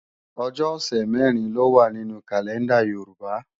Ọjọ́ ọ̀sẹ̀ mẹ̀rin ló wá nínú kàlẹ́ndà Yorùbá